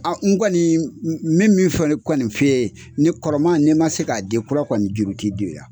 n kɔni min min kɔni f'i ye ni kɔrɔma n'i man se k'a di kura kɔni juru tɛ don.